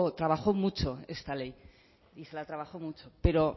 trabajó mucho esta ley y se la trabajo mucho pero